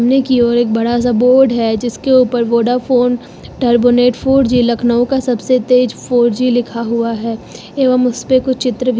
सामने की ओर एक बड़ा सा बोर्ड है जिसके ऊपर Vodafone turbo net four G Lucknow का सबसे तेज फोर जी लिखा हुआ है एवं उसपे कुछ चित्र भी--